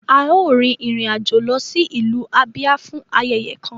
A yoo rin irin ajo lọ si ilu Abia fun ayẹyẹ kan